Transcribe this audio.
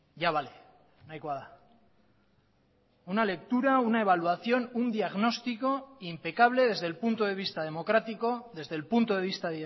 ya vale nahikoa da una lectura una evaluación un diagnóstico impecable desde el punto de vista democrático desde el punto de vista